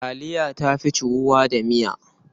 Taliya ta fi ciwuwa da miya.